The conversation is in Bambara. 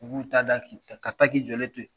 U b'u ta da ka taa k'i jɔlen to yen